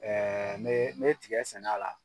ne ne ye tigɛ sɛn'a la